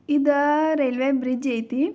ಇದ railway bridge ಐತಿ.